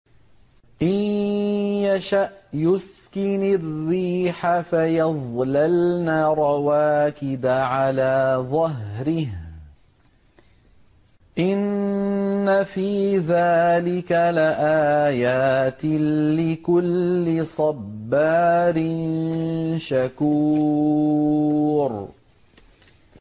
إِن يَشَأْ يُسْكِنِ الرِّيحَ فَيَظْلَلْنَ رَوَاكِدَ عَلَىٰ ظَهْرِهِ ۚ إِنَّ فِي ذَٰلِكَ لَآيَاتٍ لِّكُلِّ صَبَّارٍ شَكُورٍ